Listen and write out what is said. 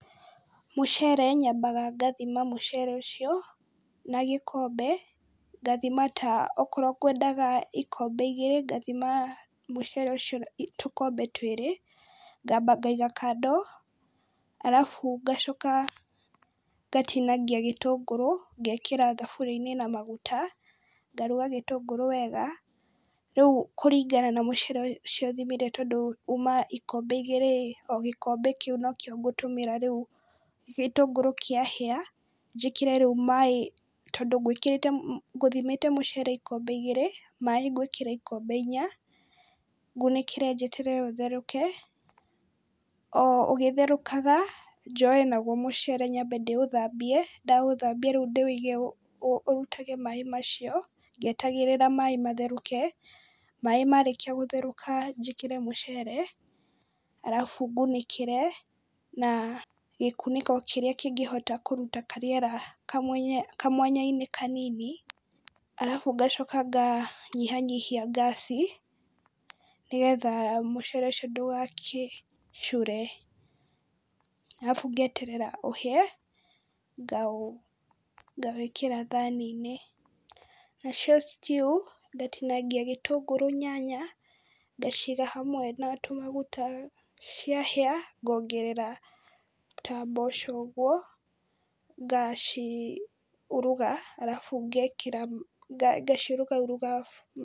Mũcere, nyambaga ngathima mũcere ũcio na gĩkombe, ngathima ta, okorwo ngwendaga ikombe igĩrĩ ngathima mũcere ũcio tũkombe twĩrĩ, ngamba ngaiga kando, arabu ngacoka ngatinangia gĩtũngũrũ, ngekĩra thaburia-inĩ na maguta, ngaruga gĩtungũrũ wega, rĩu kũringana na mũcere ũcio thimire, tondũ uma ikombe igĩrĩ-ĩ, o gĩkombe kĩu nokĩo ngũtũmĩra rĩu, gĩtũngũrũ kĩahĩa njĩkĩre rĩu maaĩ, tondũ ngwĩkĩrĩte ngũthimĩte mũcere ikombe igĩrĩ, maaĩ ngwĩkĩra ikombe inya, ngũnĩkĩre njeterere ũtherũke, o ũgĩtherũkaga, njoe naguo mũcere nyambe ndĩ ũthambie, ndaũthambia rĩu ndĩũige rĩu ũrutage maaĩ macio, ngĩetagĩrĩra maaĩ matherũke, maaĩ marĩkia gũtherũka njĩkĩre mũcere, arabu ngũnĩkĩre na gĩkunĩko kĩrĩa kĩngĩhota kũruta karĩera kamwanya-inĩ kanini , arabu ngacoka nganyĩha nyihia ngaci, nĩgetha mũcere ũcio ndũgagĩcure. Arabu ngeterera ũhĩe ngawĩkĩra thaani-inĩ. Nacio stew ngatinangia gĩtũngũrũ, nyanya ngaciga hamwe na tũmaguta, ciahĩa ngongerera ta mboco ũguo, ngaciuruga arabu ngekira, ngaciurugaruga...